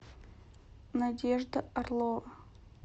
надежда орлова